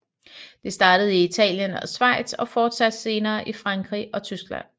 Det startede i Italien og Schweiz og fortsatte senere i Frankrig og Tyskland